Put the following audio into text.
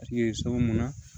mun na